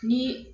Ni